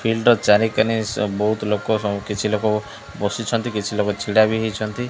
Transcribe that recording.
Field ର ଚାରିକନେ ସ ବୋହୁତ ଲୋକ ସ କିଛି ଲୋକ ବସିଛନ୍ତି କିଛି ଲୋକ ଛିଡ଼ା ବି ହେଇଛନ୍ତି।